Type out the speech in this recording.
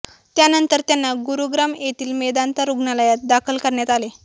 त्यानंतर त्यांना गुरुग्राम येथील मेदांता रुग्णालयात दाखल करण्यात आले